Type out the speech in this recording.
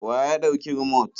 Wa ya ɗauki rumot?